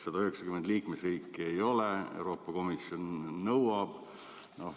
190 liikmesriiki ei ole, Euroopa Komisjon nõuab.